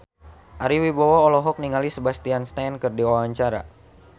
Ari Wibowo olohok ningali Sebastian Stan keur diwawancara